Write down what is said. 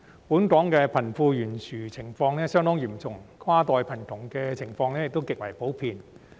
本港貧富懸殊相當嚴重，跨代貧窮亦極為普遍。